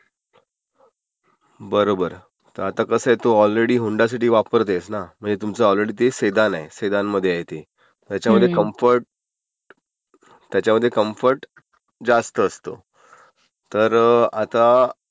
बरोबर. आता कसं आहे तू ऑलरेडी होन्डा सिटी वापरतेयसं ना, म्हणजे तुमचे ऑलरेडी ते सेदान आहे. सेदान आहे ते. त्याच्यामध्ये कम्फर्ट, त्याच्यामध्ये कम्फर्ट............जास्त असतं. तर आता